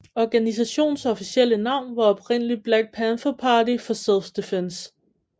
Organisationens officielle navn var oprindeligt Black Panther Party for Self Defense